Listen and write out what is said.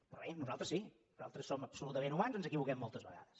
però bé nosaltres sí nosaltres som absolutament humans ens equivoquem moltes vegades